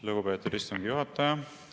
Lugupeetud istungi juhataja!